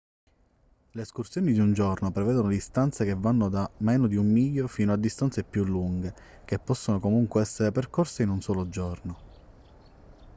le escursioni di un giorno prevedono distanze che vanno da meno di un miglio fino a distanze più lunghe che possono comunque essere percorse in un solo giorno